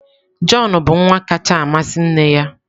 Jọn bụ nwa kacha amasị nne ya.